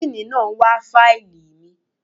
Díìní náà ń wá fáìlì mi.